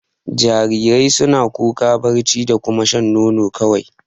Jarirai suna kuka, barci da kuma shan nono ne kawai.